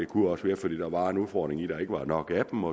kunne være fordi der var en udfordring i at der ikke var nok af dem